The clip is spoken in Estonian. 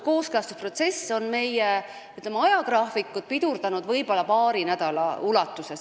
Kooskõlastusprotsess on meie ajagraafikut pidurdanud võib-olla paari nädala võrra.